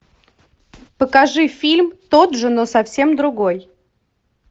покажи фильм тот же но совсем другой